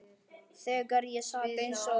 Þegar ég sat eins og